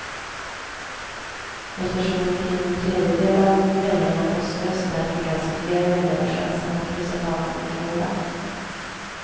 Eftersom omkring en tredjedel av väljarna poströstar fick alltså fler väljare chansen att kryssa för någon kandidat.